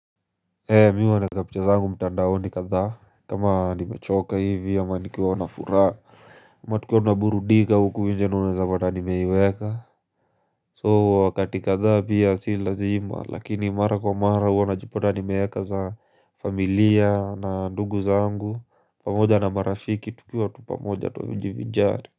Ee mi huwa naeka picha zangu mtandaoni kadhaa kama nimechoka hivi ama nikiwa na furaa ama tukiwa tunaburudika huku nje ndio unaweza pata nimeiweka soo wakati kadhaa pia si lazima lakini mara kwa mara huwa najipata nimeweka za familia na ndugu zangu pamoja na marafiki tukiwa tu pamoja tunajivinjari.